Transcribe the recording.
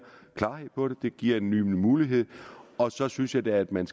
klarhed over det det giver en ny mulighed og så synes jeg da at man